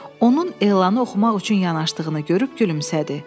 Onun elanı oxumaq üçün yanaşdığını görüb gülümsədi.